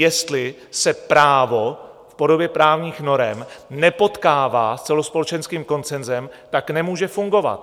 Jestli se právo v podobě právních norem nepotkává s celospolečenským konsenzem, tak nemůže fungovat.